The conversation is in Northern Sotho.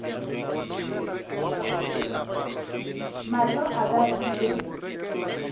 mahlo a ka a ile